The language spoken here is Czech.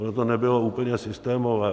Ono to nebylo úplně systémové.